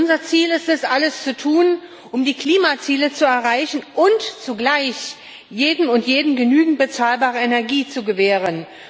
Unser Ziel ist es, alles zu tun, um die Klimaziele zu erreichen, und zugleich jedem und jeder genügend bezahlbare Energie zu gewähren.